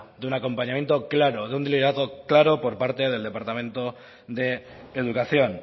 de una acompañamiento claro de un liderazgo claro por parte del departamento de educación